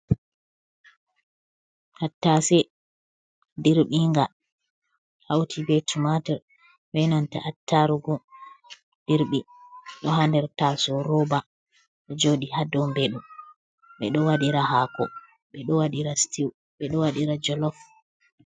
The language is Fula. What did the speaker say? Tattase dirbin nga hauti be tu mater wenanta attarugo dirbi do handerta soroba o jodi hadombedo be do wadira hako beo waira stiw bedo wadira jolof